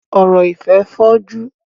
Ọ̀rọ̀ ìfẹ́ fọ́jú.